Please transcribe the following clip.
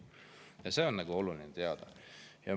Ja seda on oluline teada.